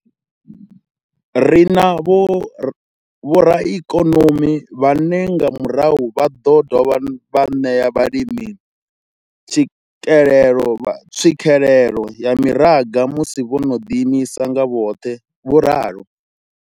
Ri na vhoraikonomi vhane nga murahu vha ḓo dovha vha ṋea vhalimi tswikelelo tswikelelo kha mimaraga musi vho no ḓiimisa nga vhoṱhe, vho ralo.